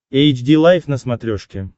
эйч ди лайф на смотрешке